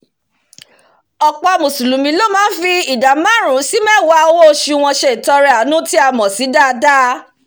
ọ̀pọ̀ mùsùlùmí ló máá fi ìdá máàrún sí mẹ́ẹ̀wá owó osù wọn se ìtọrẹ àánú tí a mọ̀ sí sàádà